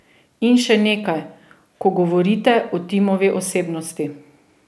In še nekaj, ko govorite o Timovi osebnosti.